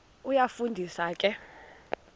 iyafu ndisa ke